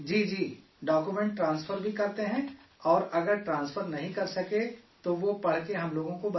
document transfer بھی کرتے ہیں اور اگر ٹرانسفر نہیں کر سکے تو وہ پڑھ کے ہم لوگوں کو بتاتے ہیں